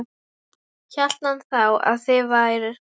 Hélt hann þá að þið vær